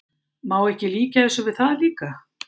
Má ekki líkja þessu við það líka?